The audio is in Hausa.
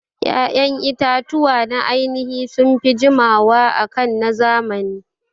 Ƴaƴan itatuwa na ainihi sunfi jiwama akan na zamani